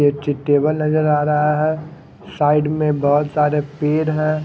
एक ची टेबल नजर आ रहा है साइड में बहोत सारे पेड़ है।